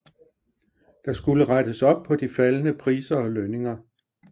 Der skulle rettes op på de faldende priser og lønninger